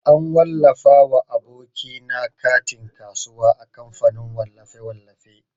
An wallafa wa aboki na katin kasuwa a kamfanin wallafe-wallafe.